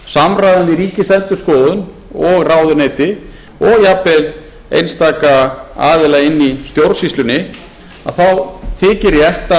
samræmi ríkisendurskoðun og ráðuneyti og jafnvel einstaka aðila inni í stjórnsýslunni þá þykir